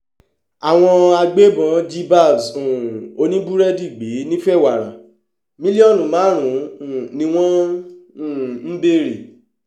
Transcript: àwọn agbébọn jí babs um oníbúrẹ́dì gbé nìfẹ́wàrà mílíọ̀nù márùn-ún ni wọ́n um ń béèrè